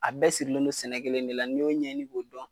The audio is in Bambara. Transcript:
A bɛɛ sirilen bɛ sɛnɛ kelen de la ni y'o ɲɛɲini k'o dɔn